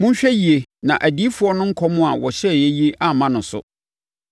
Monhwɛ yie na adiyifoɔ no nkɔm a wɔhyɛɛ yi amma no so: